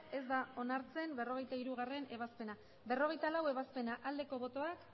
ez da onartzen berrogeita hirugarrena ebazpena berrogeita laugarrena ebazpena aldeko botoak